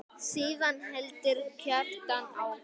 Síðan heldur Kjartan áfram